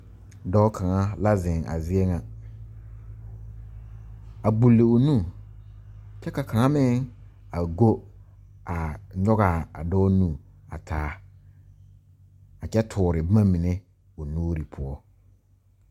Dɔɔ kaŋa la zeŋ a zie ŋa a gbuli o nu kyɛ ka kaŋa meŋ a go a nyɔge a dɔɔ nu a taa a kyɛ toore boma mine o nuuri poɔ.